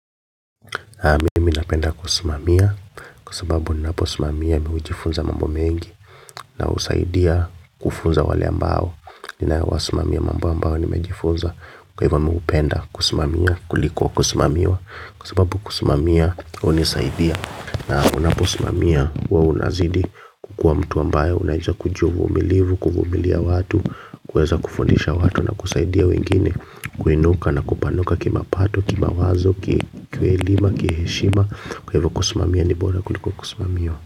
Mimi napenda kusumamia kwa sababu ninaposimamia mimi hujifunza mambo mengi na husaidia kufunza wale ambao ninawasimamia mambo ambayo nimejifunza kwa hivyo mimi hupenda kusimamia kuliko kusimamiwa kwa sababu kusimamia hunisaidia. Na unaposimamia huwa unazidi kukua mtu ambaye unajua kujua uvumilivu, kuvumilia watu, kuweza kufundisha watu na kusaidia wengine kuinuka na kupanuka kimapato, kimawazo, kielimu, kiheshima, kwa hivyo kusimamia ni bora kuliko kusimamiwa.